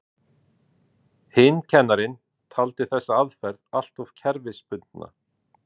Hinn kennarinn taldi þessa aðferð alltof kerfisbundna.